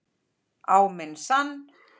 Á minn sann.!